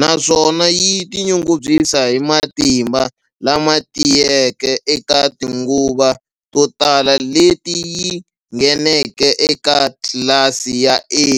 naswona yi tinyungubyisa hi matimba lama tiyeke eka tinguva to tala leti yi ngheneke eka tlilasi ya A.